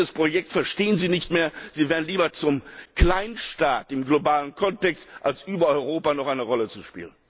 Dieses Projekt verstehen Sie nicht mehr, Sie werden lieber zum Kleinstaat im globalen Kontext, als über Europa noch eine Rolle zu spielen.